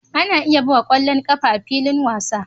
Ana iya buga ƙwallon ƙafa a filin wasa